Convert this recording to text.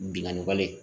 Binganni wale